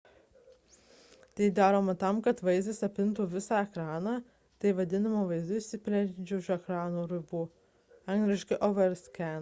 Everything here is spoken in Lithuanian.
tai daroma tam kad vaizdas apimtų visą ekraną. tai vadinama vaizdu išsiplečiančiu už ekrano rodymo ribų angl. overscan